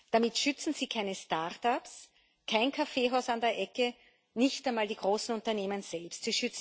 Damit schützen Sie keine Start-ups, kein Kaffeehaus an der Ecke, nicht einmal die großen Unternehmen selbst.